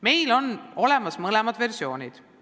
Meil on olemas mõlemad versioonid.